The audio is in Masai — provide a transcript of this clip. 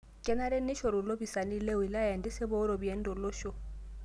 Kenare neishoru lopisaani le wilaya entisipa oo ropiyiani too loosho